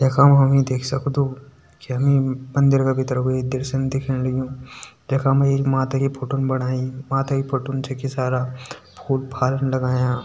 यखा खा मा हमि देख सकदु की मंदिर का भितर कु ये दृश्यन दिखेण लग्युं यखा मा एक माता की फोटोन बणाई माता की फोटोन छकि सारा फूल फाल लगायां।